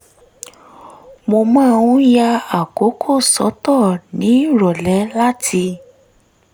mo máa ń ya àkókò sọ́tọ̀ nírọ̀lẹ́ láti